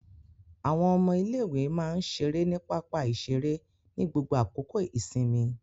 Àwọn ọmọ ilé-ìwé máa ń ṣeré ní pápá-ìṣeré ní gbogbo àkókò ìsinmi.